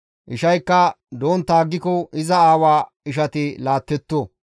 Ishaykka dontta aggiko iza aawa ishati laattetto.